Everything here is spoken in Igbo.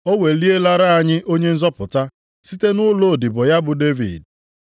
O welielara anyị Onye nzọpụta site nʼụlọ odibo ya bụ Devid.